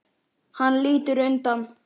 Hann lítur undan.